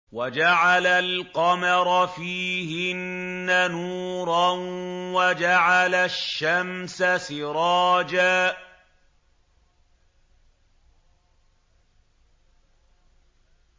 وَجَعَلَ الْقَمَرَ فِيهِنَّ نُورًا وَجَعَلَ الشَّمْسَ سِرَاجًا